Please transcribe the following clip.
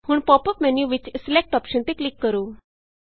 ਹੁਣ pop up menu ਵਿਚ select select option ਤੇ ਕਲਿਕ ਕਰੋ